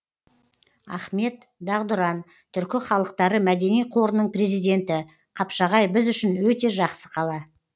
ахмет дағдұран түркі халықтары мәдени қорының президенті қапшағай біз үшін өте жақсы қала